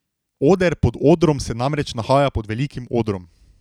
Oder pod odrom se namreč nahaja pod velikim odrom.